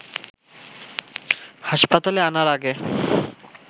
হাসপাতালে আনার আগে